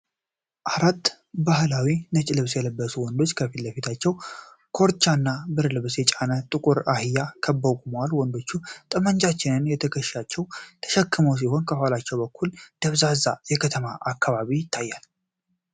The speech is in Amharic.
አራት ባህላዊ ነጭ ልብስ የለበሱ ወንዶች ከፊት ለፊታቸው ኮርቻና ብርድ ልብስ የተጫነ ጥቁር አህያ ከበው ቆመዋል። ወንዶቹ ጠመንጃዎችን በትከሻቸው የተሸከሙ ሲሆን፤ ከኋላው በኩል ደብዛዛ የከተማ አካባቢ ይታያል።